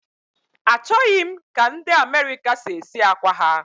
Achọghị m ka ndị America si esi akwa ha